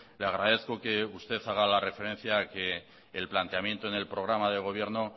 le agradezco que usted haga la referencia a que el planteamiento en el programa de gobierno